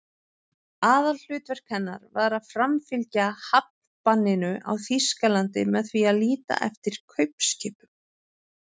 Aðalhlutverk hennar var að framfylgja hafnbanninu á Þýskaland með því að líta eftir kaupskipum.